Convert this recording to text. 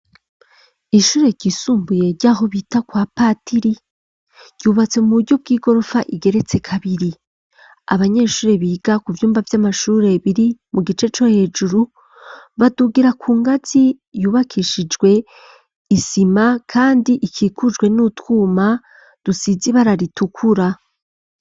Ishure ryisumbuye ryaho bita kwa patiri, ryubatse mu buryo bw'igorofa igeretse kabiri. Abanyeshure biga ku vyumba vy'amashure biri mu gice co hejuru badugira ku ngazi yubakishijwe isima kandi ikikujwe n'utwuma dusize ibara ritukura.